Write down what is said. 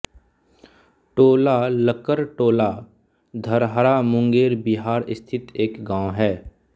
टोलालकड़टोला धरहरा मुंगेर बिहार स्थित एक गाँव है